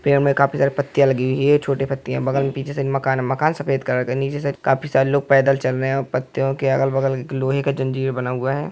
पेड़ में काफी सारी पत्तियाँ लगी हुई हैंछोटी पत्तियाँ बगल में पीछे से मकान है। मकान सफेद कलर का हैनीचे से काफी लोग पैदल चल रहै हैं और पत्तियों के अगल-बगल लोहे का एक जंजीर बना हुआ है।